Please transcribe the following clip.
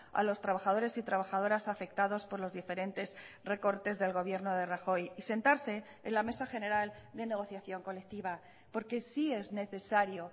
a los trabajadores y trabajadoras afectados por los diferentes recortes del gobierno de rajoy y sentarse en la mesa general de negociación colectiva porque sí es necesario